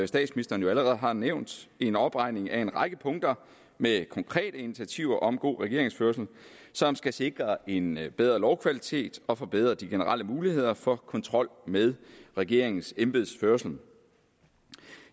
statsministeren jo allerede har nævnt en opregning af en række punkter med konkrete initiativer om god regeringsførelse som skal sikre en bedre lovkvalitet og forbedre de generelle muligheder for kontrol med regeringens embedsførelse